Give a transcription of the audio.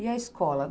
E a escola?